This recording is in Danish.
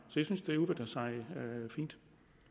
synes at det udvikler sig fint